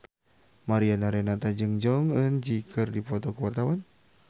Mariana Renata jeung Jong Eun Ji keur dipoto ku wartawan